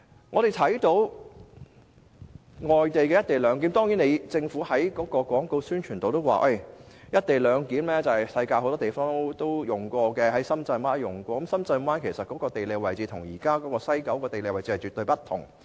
我們知道外地有進行"一地兩檢"，而政府在其廣告宣傳中，也提到"一地兩檢"在世界很多地方實施，包括深圳灣，但深圳灣的地理位置與西九現時的地理位置絕不相同。